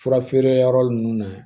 Fura feere yɔrɔ ninnu na